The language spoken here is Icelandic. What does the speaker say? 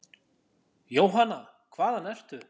Jóhanna: Hvaðan ertu?